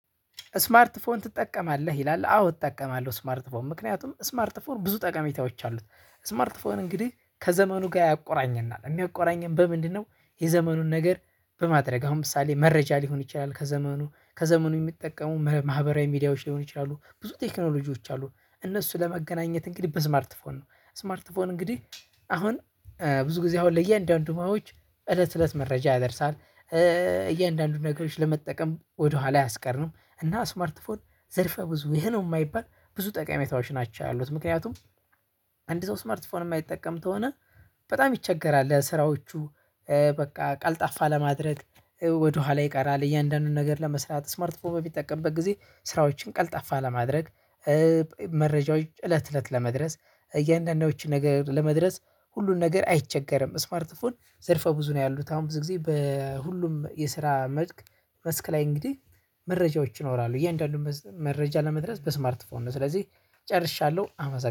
ስማርት ፎን ትጠቀማለህ ይላል አዎ እጠቀማለሁ ስማርት ፎን ምክንያቱም ስማርት ፎን ብዙ ጠቀሜታዎች አሉት ስማርት ፎን እንግዲህ ከዘመኑ ጋር ያቆራኘናል የሚያቆራኘን በምንድነው? የዘመኑን ነገር በማድረግ አሁን ምሳሌ መረጃ ሊሆን ይችላል ከዘመኑ ከዘመኑ የሚጠቀሙ ማህበራዊ ሚዲያዎች ሊሆን ይችላሉ ብዙ ቴክኖሎጂዎች አሉ እነሱ ለመገናኘት እንግዲህ በስማርት ፎን ነው። ስማርት ፎን እንግዲህ አሁን ብዙ ጊዜ አሁን ለእያንዳንዱ ማዎች እለት እለት መረጃ ያደርሳል እያንዳንዱን ነገሮች ለመጠቀም ወደኋላ አያስቀርም። እና ስማርት ፎን ዘርፈ ብዙ ይሄ ነው የማይባል ብዙ ጠቀሜታዎች ናቸው ያሉት ምክንያቱም አንድ ሰው ስማርት ፎን የማይጠቀም ከሆነ በጣም ይቸገራል ለስራዎቹ። በቃ ቀልጣፋ ለማድረግ ወደኋላ ይቀራል። እያንዳንዱን ነገር ለመስራት ስማርት ፎን በሚጠቀምበት ጊዜ ስራዎችን ቀልጣፋ ለማድረግ። መረጃዎች እለት እለት ለመድረስ እያንዳንዶቹን ነገር ለመድረስ ሁሉን ነገር አይቸገርም። ስማርት ፎን ዘርፈ ብዙ ነው ያሉት አሁን ብዙ ጊዜ በሁሉም የስራ መልክ መስክ ላይ እንግዲህ መረጃዎች ይኖራሉ እያንዳንዱን መረጃ ለመድረስ በስማርትፎን ነው። ስለዚህ ጨርሻለሁ አመሰግናለሁ